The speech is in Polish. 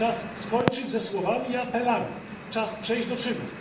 Czas skończyć ze słowami i apelami, czas przejść do czynów.